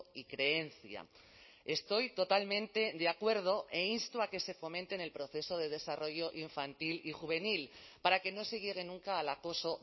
y creencia estoy totalmente de acuerdo e insto a que se fomente en el proceso de desarrollo infantil y juvenil para que no se llegue nunca al acoso